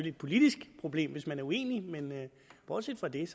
et politisk problem hvis man er uenige men bortset fra det er